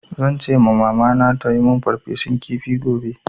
Zan ce ma Mamana ta yi min farfesun kifi gobe.